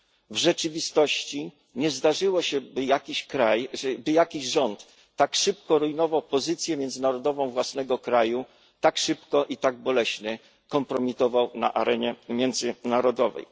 W rzeczywistości nie zdarzyło się, by jakiś rząd tak szybko rujnował pozycję międzynarodową własnego kraju, tak szybko i tak boleśnie kompromitował swój kraj na arenie międzynarodowej.